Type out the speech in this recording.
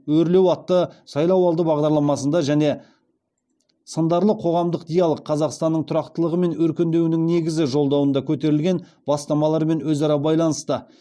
өрлеу атты сайлауалды бағдарламасында және сындарлы қоғамдық диалог қазақстанның тұрақтылығы мен өркендеуінің негізі жолдауында көтерілген бастамалармен өзара байланысты